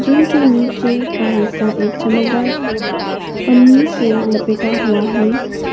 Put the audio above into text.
इनके नीचे का हिस्सा एक चमकदार पन्नी से लपेटा हुआ है।